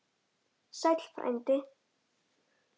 Sæll frændi!